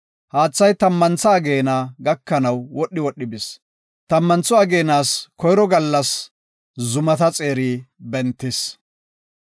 Haathay tammantha ageena gakanaw wodhi wodhi bis. Tammantho ageenas koyro gallas zumata xeerati bentidosona.